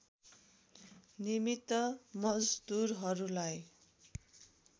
निमित्त मजदुरहरूलाई